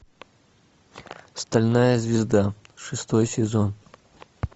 стальная звезда шестой сезон